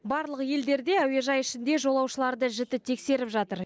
барлық елдерде әуежай ішінде жолаушыларды жіті тексеріп жатыр